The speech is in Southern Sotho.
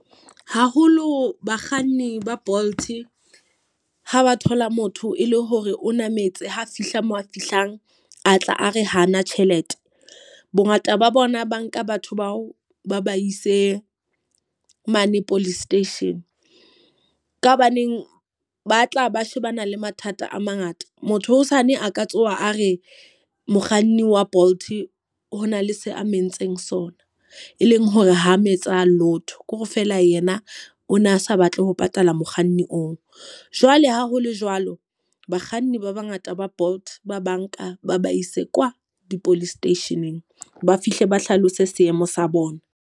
Haholo bakganni ba Bolt ha ba thola motho e le hore o nametse, ha fihla moo a fihlang a tla a re hana tjhelete. Bo ngata ba bona ba nka batho bao ba ba ise mane police station. Ka hobaneng ba tla ba shebana le mathata a mangata. Motho hosane a ka tsoha a re mokganni wa Bolt hona le se a nentseng sona, e leng hore ho mo etsa lotho. Ko re feela yena o na sa batle ho patala mokganni oo. Jwale ha ho le jwalo, bakganni ba ba ngata ba Bolt ba banka ba ba ise kwa di-police station-eng, ba fihle ba hlalose seemo sa bona.